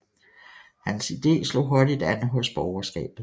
Hans ide slog hurtigt an hos borgerskabet